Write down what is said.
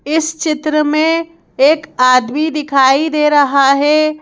इस चित्र में एक आदमी दिखाई दे रहा हैं।